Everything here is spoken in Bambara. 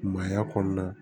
Maaya kɔnɔna na